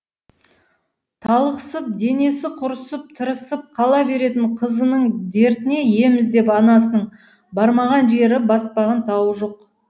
талықсып денесі құрысып тырысып қала беретін қызының дертіне ем іздеп анасының бармаған жері баспаған тауы жоқ